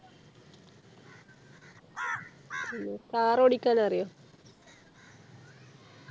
പിന്നെ Car ഓടിക്കാൻ അറിയോ